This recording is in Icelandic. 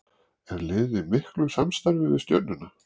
Er liðið í miklu samstarfi við Stjörnuna?